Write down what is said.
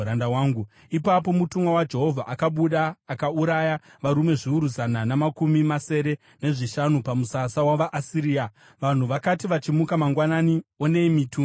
Ipapo mutumwa waJehovha akabuda akauraya varume zviuru zana namakumi masere nezvishanu pamusasa wavaAsiria. Vanhu vakati vachimuka mangwanani, onei mitumbi yavakafa!